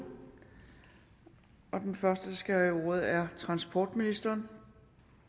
og den første der skal have ordet er transportministeren